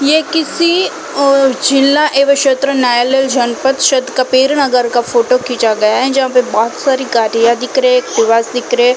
यह किसी ओ जिला एव क्षेत्र न्यायालय जनपद क्षेत कबीर नगर का फोटो खीचा गया है जहाँ पे बहुत सारी गाड़ियाँ दिख रहे है खुलास दिख रहे।